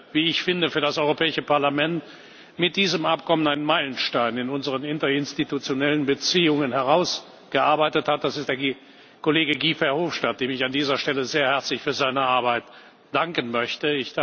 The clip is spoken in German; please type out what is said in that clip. und wie ich finde für das Europäische Parlament mit dieser Vereinbarung einen Meilenstein in unseren interinstitutionellen Beziehungen herausgearbeitet hat, das ist der Kollege Guy Verhofstadt, dem ich an dieser Stelle sehr herzlich für seine Arbeit danken möchte.